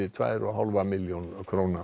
tvær og hálfa milljón króna